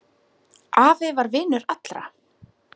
Afi var vinur allra.